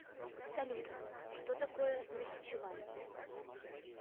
салют что такое нахичевань